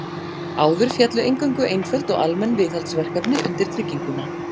Áður féllu eingöngu einföld og almenn viðhaldsverkefni undir trygginguna.